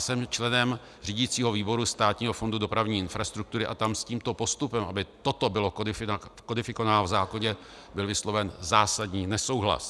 Jsem členem řídicího výboru Státního fondu dopravní infrastruktury a tam s tímto postupem, aby toto bylo kodifikováno v zákoně, byl vysloven zásadní nesouhlas.